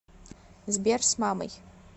сбер с мамой